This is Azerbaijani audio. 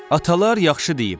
Atalar yaxşı deyib.